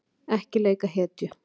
Ekki leika hetju